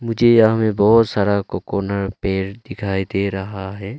मुझे यहां में बहुत सारा कोकोनट पेड़ दिखाई दे रहा है।